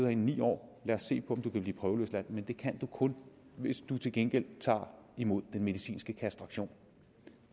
i ni år lad os se på om du kan blive prøveløsladt men det kan du kun hvis du til gengæld tager imod den medicinske kastration